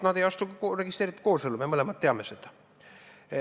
Nad ei astu ka registreeritud koosellu, me mõlemad teame seda.